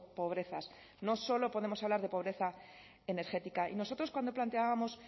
pobrezas no solo podemos hablar de pobreza energética y nosotros cuando planteábamos